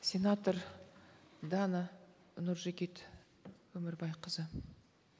сенатор дана нұржігіт өмірбайқызы